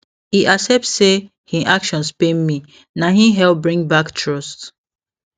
e accept say hin actions pain me na hin help bring back trust